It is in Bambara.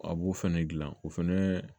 A b'o fɛnɛ gilan o fɛnɛ